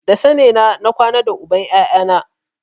Da sane na na kwana da uban ƴaƴana